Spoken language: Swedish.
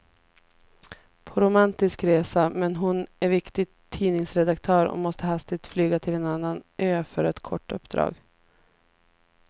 På romantisk resa, men hon är viktig tidningsredaktör och måste hastigt flyga till en annan ö för ett kort uppdrag.